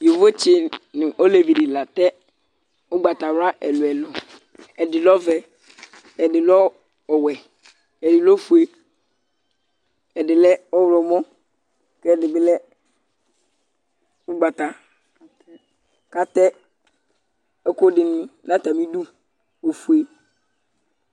Yovotsɩ nʋ olevi dɩ la atɛ ʋgbatawla ɛlʋ-ɛlʋ Ɛdɩ lɛ ɔvɛ, ɛdɩ lɛ ɔwɛ, ɛdɩ lɛ ofue, ɛdɩ lɛ ɔɣlɔmɔ kʋ ɛdɩ bɩ lɛ ʋgbata kʋ atɛ ɛkʋ dɩnɩ nʋ atamɩdu ofue